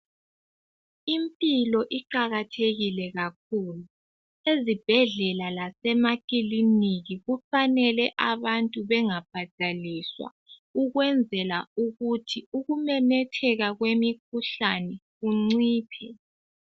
Impilo iqakathekile kakhulu, ezibhedlela lasemakilinika kufanele abantu bengabhadaliswa ukwenzela ukuthi ukumemetheka kwemikhuhlane kunciphe.